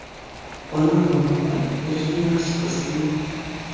Ona va bola o‘zini yaxshi his qilmoqda.